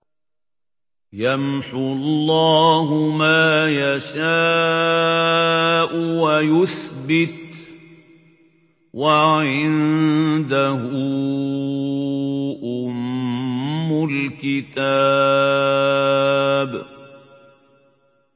يَمْحُو اللَّهُ مَا يَشَاءُ وَيُثْبِتُ ۖ وَعِندَهُ أُمُّ الْكِتَابِ